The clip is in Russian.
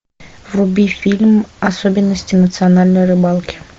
вруби фильм особенности национальной рыбалки